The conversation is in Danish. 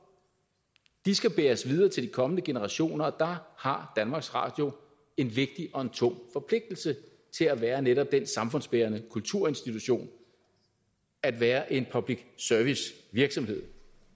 skal bæres videre til de kommende generationer og der har danmarks radio en vigtig og en tung forpligtelse til at være netop den samfundsbærende kulturinstitution at være en public service virksomhed